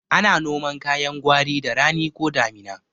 Ana noman kayan gwari da rani ko damina